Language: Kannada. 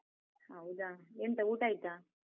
ಹೌದಾ? ಎಂತ ಊಟ ಆಯ್ತಾ?